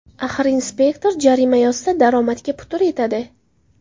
Axir inspektor jarima yozsa, daromadga putur yetadi.